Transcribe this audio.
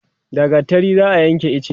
da gattari za'a Yanke iche